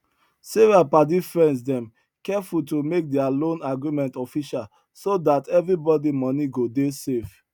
sarah padifriends dem careful to make their loan agreement official so that everybody money go dey safe